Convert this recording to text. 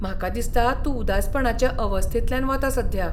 म्हाका दिसता तूं उदासपणाचे अवस्थेंतल्यान वता सध्या.